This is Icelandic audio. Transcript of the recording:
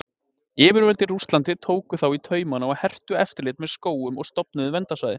Yfirvöld í Rússlandi tóku þá í taumanna og hertu eftirlit með skógum og stofnuðu verndarsvæði.